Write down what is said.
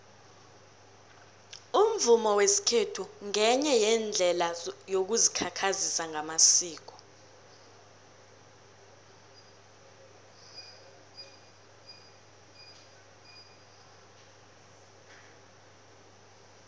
umvumo wesikhethu ngenye yeendlela yokuzikhakhazisa ngamasiko